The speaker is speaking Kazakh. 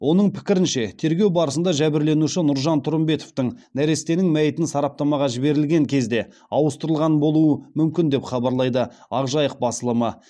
оның пікірінше тергеу барысында жәбірленуші нұржамал тұрымбетовтің нәрестесінің мәйітін сараптамаға жіберілген кезде ауыстырылған болуы мүмкін деп хабарлайды ақ жайық басылымы